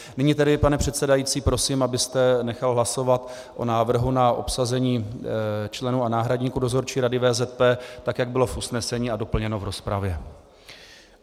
Nyní tedy, pane předsedající, prosím, abyste nechal hlasovat o návrhu na obsazení členů a náhradníků Dozorčí rady VZP, jak to bylo v usnesení a doplněno v rozpravě.